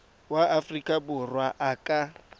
wa aforika borwa a ka